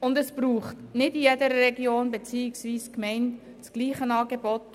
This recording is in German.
Es braucht nicht in jeder Region beziehungsweise in jeder Gemeinde das gleiche Angebot.